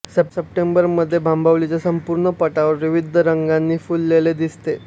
सप्टेंबरमध्ये भांबवलीचे संपूर्ण पठार विविध रंगांनी फुललेले दिसते